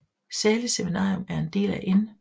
Zahles Seminarium en del af N